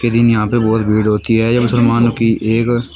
ये दिन यहां पे बहोत भीड़ होती है यह मुसलमानो की एक--